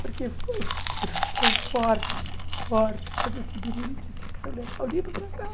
Porque foi uma coisa tão forte, tão forte, quando esse menino disse, eu quero levar o livro para casa.